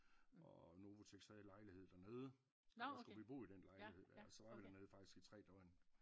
Og Novoteks havde lejlighed der nede der skulle vi bo i den lejlighed der så var vi der nede faktisk i tre døgn